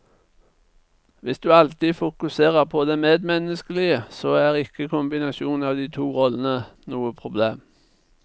Hvis du alltid fokuserer på det medmenneskelige, så er ikke kombinasjonen av de to rollene noe problem.